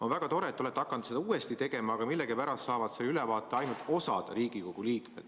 On väga tore, et te olete hakanud seda ka tegema, aga millegipärast saab selle ülevaate ainult osa Riigikogu liikmed.